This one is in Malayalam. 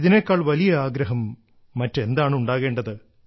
ഇതിനേക്കാൾ വലിയ ആഗ്രഹം മറ്റെന്താണ് ഉണ്ടാകേണ്ടത്